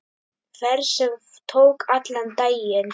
Ferð sem tók allan daginn.